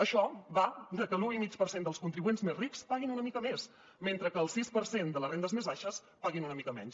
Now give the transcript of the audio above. això va de que l’un coma cinc per cent dels contribuents més rics paguin una mica més mentre que el sis per cent de les rendes més baixes paguin una mica menys